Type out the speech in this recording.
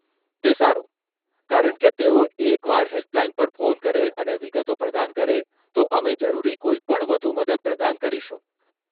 તે સારું, કારણ કે તેઓ એકવાર હેલ્પલાઈન પર ફોન કરે અને વિગતો પ્રદાન કરે, તો અમે જરૂરી કોઈપણ વધુ મદદ પ્રદાન કરીશું.